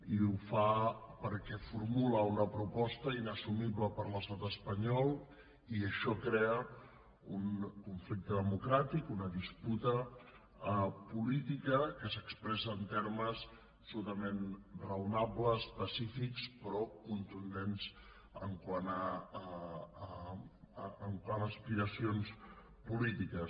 i ho fa perquè formula una proposta inassumible per l’estat espanyol i això crea un conflicte democràtic una disputa política que s’expressa en termes absolutament raonables pacífics però contundents quant a aspiracions polítiques